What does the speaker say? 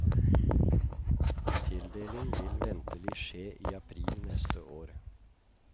Tildeling vil ventelig skje i april neste år.